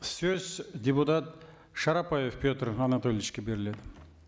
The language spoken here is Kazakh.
сөз депутат шарапаев петр анатольевичке беріледі